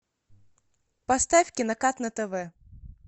поставь кинокат на тв